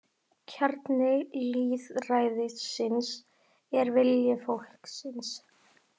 Kjarni lýðræðisins er vilji fólksins